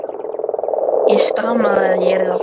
Ég stamaði að ég yrði að fara heim.